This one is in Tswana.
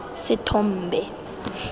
sethombe